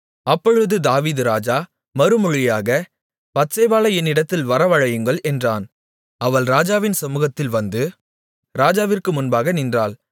அப்பொழுது தாவீது ராஜா மறுமொழியாக பத்சேபாளை என்னிடத்தில் வரவழையுங்கள் என்றான் அவள் ராஜாவின் சமுகத்தில் வந்து ராஜாவிற்கு முன்பாக நின்றாள்